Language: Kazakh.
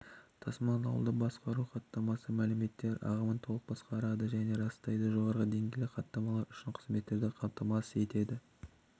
тасымалдауды басқару хаттамасы мәліметтер ағымын толық басқарады және растайды жоғарғы деңгейлі хаттамалар үшін қызметтерді қамтамасыз етеді